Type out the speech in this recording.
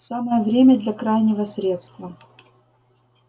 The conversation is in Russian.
самое время для крайнего средства